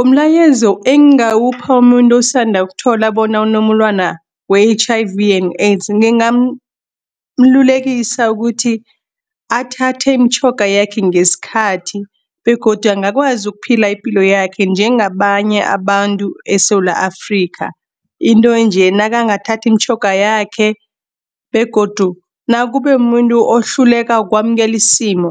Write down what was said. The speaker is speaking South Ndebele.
Umlayezo engawupha umuntu osanda ukuthola bona unomulwana we-H_I_V and AIDS. Ngigamlulekisa ukuthi athathe imitjhoga yakhe ngeskhathi, begodu angakwazi ukuphila ipilo yakhe njengabanye abantu eSewula Afrika. Into nje nakangathathi iimtjhoga yakhe, begodu nakube muntu ohluleka kwamkelisimo,